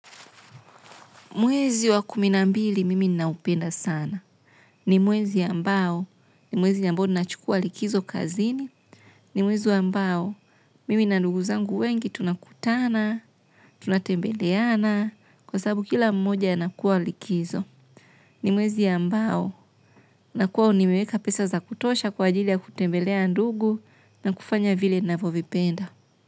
Mwezi wa kumi na mbili mimi naupenda sana. Ni mwezi ambao, ni mwezi ambao ninachukua likizo kazini. Ni mwezi ambao, mimi na ndugu zangu wengi tunakutana, tunatembeleana, kwa sababu kila mmoja yanakua likizo. Ni mwezi ambao, nakua unimeweka pesa za kutosha kwa ajili ya kutembelea ndugu na kufanya vile navyovipenda.